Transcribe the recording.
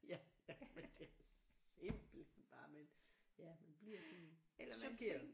Ja ja men det er simpelthen bare men ja man bliver sådan chokeret